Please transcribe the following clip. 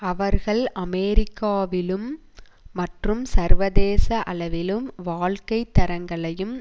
அவர்கள் அமெரிக்காவிலும் மற்றும் சர்வதேச அளவிலும் வாழ்க்கை தரங்களையும்